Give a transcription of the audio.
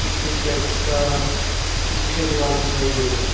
पीछे चर्च का मुख्य द्वार दिखाई दे रहा है।